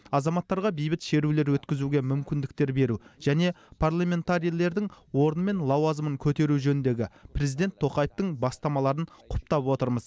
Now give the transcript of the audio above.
азаматтарға бейбіт шерулер өткізуге мүмкіндіктер беру және парламентарийлердің орны мен лауазымын көтеру жөніндегі президент тоқаевтың бастамаларын құптап отырмыз